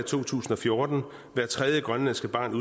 2014 hvert tredje grønlandske barn